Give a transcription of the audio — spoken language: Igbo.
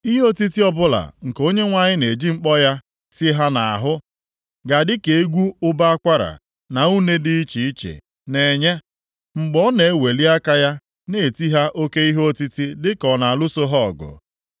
Ihe otiti ọbụla nke Onyenwe anyị na-eji mkpọ ya, tie ha nʼahụ ga-adị ka egwu ụbọ akwara na une dị iche iche na-enye, mgbe ọ na-eweli aka ya na-eti ha oke ihe otiti dịka ọ na-alụso ha ọgụ.